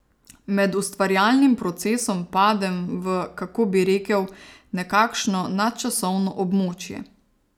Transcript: Med ustvarjalnim procesom padem v, kako bi rekel, nekakšno nadčasovno območje.